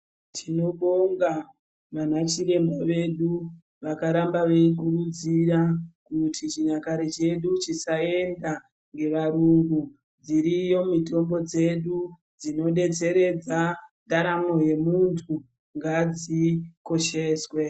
Tinobonga vana chiremba vedu vakarakba veigwinyisira kuti chinyakare chedu chisaenda ngevarungu dziriyo mitombo dzedu dzinodetseredza ndaramo yemuntu ngadzikosheswe.